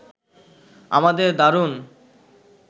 আমাদের দারুণ